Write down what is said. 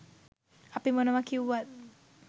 අපි මොනවා කිව්වත්